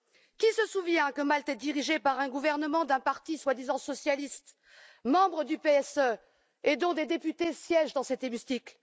Qui se souvient que Malte est dirigée par un gouvernement d'un parti soi disant socialiste, membre du PSE, et dont des députés siègent dans cet hémicycle?